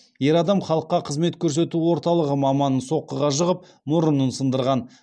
ер адам халыққа қызмет көрсету орталығы маманын соққыға жығып мұрнын сындырған